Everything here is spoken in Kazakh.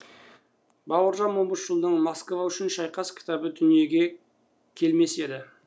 бауыржан момышұлының москва үшін шайқас кітабы дүниеге келмес еді